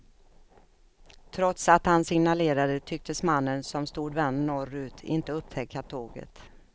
Trots att han signalerade tycktes mannen, som stod vänd norrut, inte upptäcka tåget.